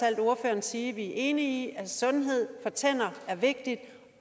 alt ordføreren sige at vi er enige om at sundhed for tænder er vigtigt